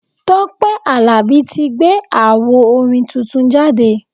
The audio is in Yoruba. Tọ́pẹ́ Àlàbí tí gbé awo orin tuntun jáde.